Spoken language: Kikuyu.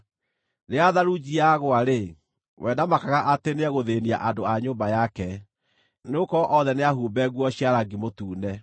Rĩrĩa tharunji yagũa-rĩ, we ndamakaga atĩ nĩĩgũthĩĩnia andũ a nyũmba yake; nĩgũkorwo othe nĩahumbe nguo cia rangi mũtune.